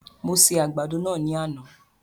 Mo se àgbàdo náà ní àná